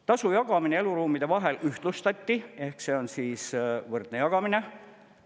Tasu jagamine eluruumide vahel ühtlustati ehk see on võrdne jagamine.